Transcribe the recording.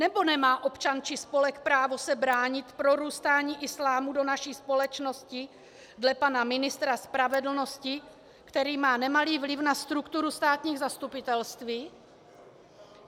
Nebo nemá občan či spolek právo se bránit prorůstání islámu do naší společnosti dle pana ministra spravedlnosti, který má nemalý vliv na strukturu státních zastupitelství?